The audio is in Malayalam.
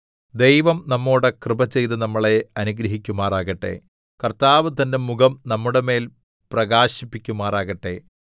ദൈവം നമ്മളോട് കൃപ ചെയ്ത് നമ്മളെ അനുഗ്രഹിക്കുമാറാകട്ടെ കർത്താവ് തന്റെ മുഖം നമ്മുടെമേൽ പ്രകാശിപ്പിക്കുമാറാകട്ടെ സേലാ